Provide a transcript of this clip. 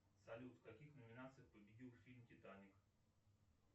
салют в каких номинациях победил фильм титаник